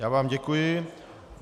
Já vám děkuji.